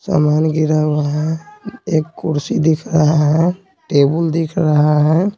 सामान गिरा हुआ है एक कुर्सी दिख रहा है टेबुल दिख रहा है।